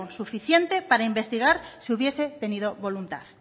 suficiente para investigar si hubiese tenido voluntad